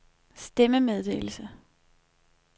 stemmemeddelelse